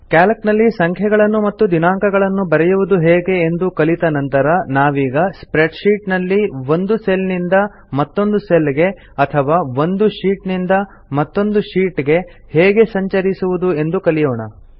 Calc ನಲ್ಲಿ ಸಂಖ್ಯೆಗಳನ್ನು ಮತ್ತು ದಿನಾಂಕಗಳನ್ನು ಬರೆಯುವುದು ಹೇಗೆ ಎಂದು ಕಲಿತ ನಂತರ ನಾವೀಗ ಸ್ಪ್ರೆಡ್ಶೀಟ್ ನಲ್ಲಿ ಒಂದು ಸೆಲ್ ನಿಂದ ಮತ್ತೊಂದು ಸೆಲ್ ಗೆ ಅಥವಾ ಒಂದು ಶೀಟ್ ನಿಂದ ಮತ್ತೊಂದು ಶೀಟ್ ಗೆ ಹೇಗೆ ಸಂಚರಿಸುವುದೆಂದು ಕಲಿಯೋಣ